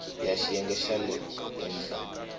ya xiyenge xa le henhla